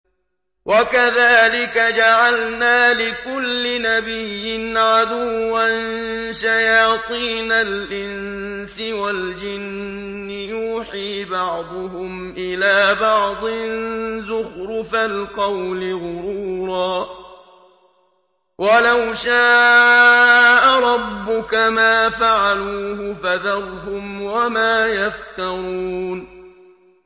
وَكَذَٰلِكَ جَعَلْنَا لِكُلِّ نَبِيٍّ عَدُوًّا شَيَاطِينَ الْإِنسِ وَالْجِنِّ يُوحِي بَعْضُهُمْ إِلَىٰ بَعْضٍ زُخْرُفَ الْقَوْلِ غُرُورًا ۚ وَلَوْ شَاءَ رَبُّكَ مَا فَعَلُوهُ ۖ فَذَرْهُمْ وَمَا يَفْتَرُونَ